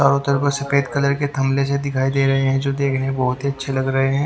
चारों तरफ पर सफेद कलर के थमले जो दिखाई दे रहे हैं जो देखने में बोहोत ही अच्छे लग रहे हैं।